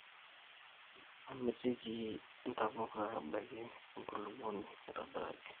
Amitiki ntapuka ebaiki enkulupuoni aitobiraki.